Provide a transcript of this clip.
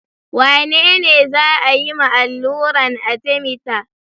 Wane ne za a yi ma alluran Arthemether?